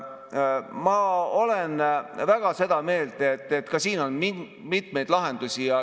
Ma olen väga seda meelt, et ka siin on mitmeid lahendusi.